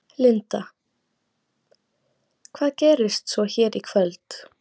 Linda: Hvað gerist svo hér í kvöld?